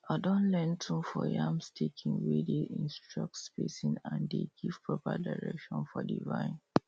i don learn tune for yam staking wey dey instructs spacing and dey give proper direction for the vine